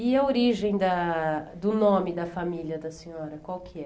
E a origem da do nome da família da senhora, qual que é?